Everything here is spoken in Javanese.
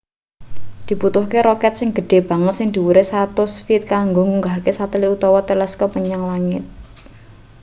dibutuhke roket sing gedhe banget sing dhuwure 100 feet kanggo ngunggahke satelit utawa teleskop menyang langit